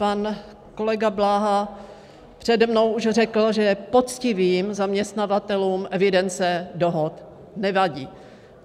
Pan kolega Bláha přede mnou už řekl, že poctivým zaměstnavatelům evidence dohod nevadí.